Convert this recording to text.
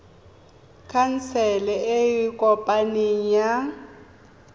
khansele e e kopaneng ya